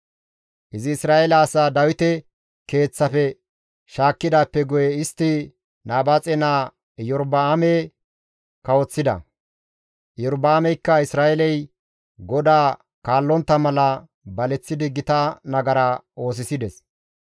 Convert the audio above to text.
Izi Isra7eele asaa Dawite keeththafe shaakkidaappe guye istti Nabaaxe naa Iyorba7aame kawoththida; Iyorba7aameykka Isra7eeley GODAA kaallontta mala baleththidi gita nagara oosisides.